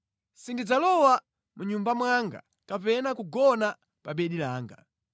“Sindidzalowa mʼnyumba mwanga kapena kugona pa bedi langa: